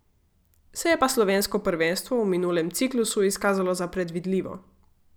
Se je pa slovensko prvenstvo v minulem ciklusu izkazalo za predvidljivo.